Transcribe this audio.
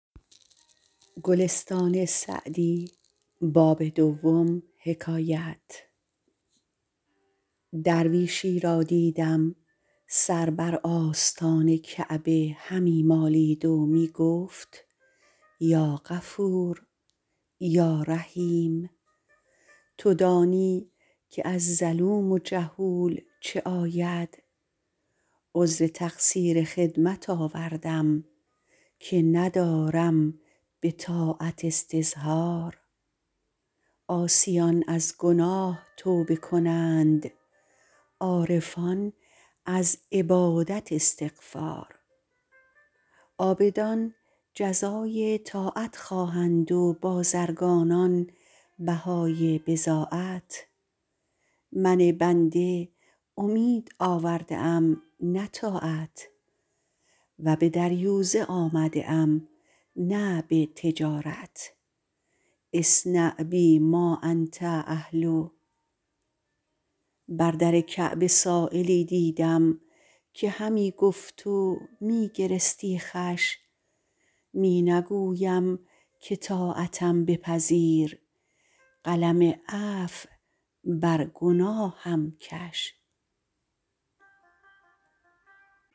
درویشی را دیدم سر بر آستان کعبه همی مالید و می گفت یا غفور یا رحیم تو دانی که از ظلوم جهول چه آید عذر تقصیر خدمت آوردم که ندارم به طاعت استظهار عاصیان از گناه توبه کنند عارفان از عبادت استغفار عابدان جزای طاعت خواهند و بازرگانان بهای بضاعت من بنده امید آورده ام نه طاعت و به دریوزه آمده ام نه به تجارت اصنع بی ما انت اهله بر در کعبه سایلی دیدم که همی گفت و می گرستی خوش می نگویم که طاعتم بپذیر قلم عفو بر گناهم کش